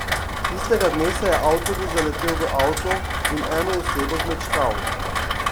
Tistega dne se je avtobus zaletel v avto in eno osebo zmečkal.